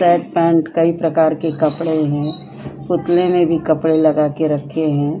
Shirt pant कई प्रकार के कपड़े हैं पुतले में भी कपड़े लगा के रखे हैं।